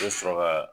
I bɛ sɔrɔ ka